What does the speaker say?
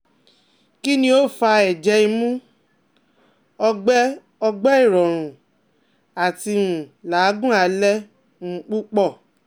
Kini o fa ẹjẹ imu, ọgbẹ ọgbẹ irọrun ati um lagun alẹ um pupọ?